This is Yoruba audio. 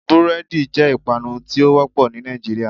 Búrédì jé ìpanu tí ó wópò ní Nàìjíríà